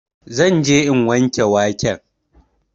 Zan je in wanke waken